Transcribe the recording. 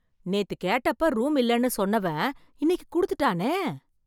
நேத்து கேட்டப்ப ரூம் இல்லன்னு சொன்னவன் இன்னைக்கு குடுத்துட்டானே